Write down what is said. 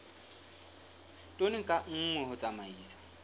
tone ka nngwe ho tsamaisa